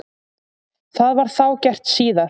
Það var þá gert síðar.